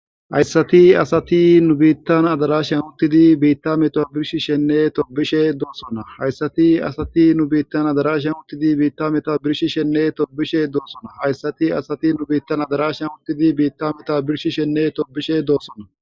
Hayssati asati nu biittan adarash amuttidi biitta meta birshi shenne tobishe doossona hayssati asati nu biittan adarash yanuttidi biitta meta birshi shenne tobishe doossona hayssati asati nu biittan adarash amuttidi biitta meta birshi shenne tobishe doossona.